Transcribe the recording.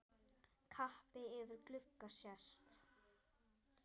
Kappi yfir glugga sést.